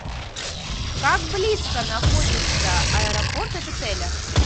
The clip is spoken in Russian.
как близко находится аэропорт от отеля